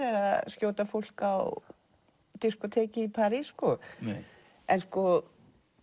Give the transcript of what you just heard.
eða skjóta fólk á diskóteki í París sko en sko